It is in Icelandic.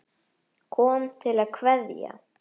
Kom til að kveðja.